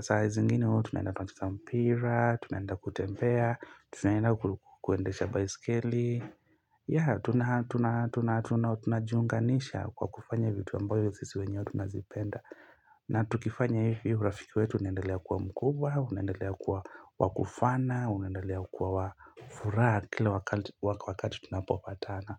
saa zingine, huwa tunaenda twacheza mpira, tunatafuta fare, tunaenda kuendesha baiskeli ya, tunajiunganisha kwa kufanya vitu ambavyo sisi wenye tunazipenda na tukifanya hivyo urafiki wetu unendelea kuwa mkubwa, unendelea kuwa wakufana, unendelea kuwa wafuraha kila wakati tunapopatana.